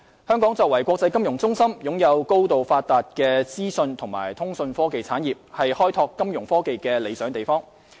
香港作為國際金融中心，擁有高度發達的資訊及通訊科技產業，是開拓金融科技的理想地方。